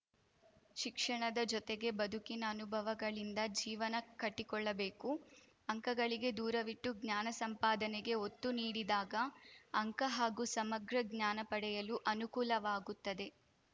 ಶಿಕ್ಷಣದ ಜೊತೆಗೆ ಬದುಕಿನ ಅನುಭವಗಳಿಂದ ಜೀವನ ಕಟ್ಟಿಕೊಳ್ಳಬೇಕು ಅಂಕಗಳಿಕೆ ದೂರವಿಟ್ಟು ಜ್ಞಾನ ಸಂಪಾದನೆಗೆ ಒತ್ತು ನೀಡಿದಾಗ ಅಂಕ ಹಾಗೂ ಸಮಗ್ರ ಜ್ಞಾನ ಪಡೆಯಲು ಅನುಕೂಲವಾಗುತ್ತದೆ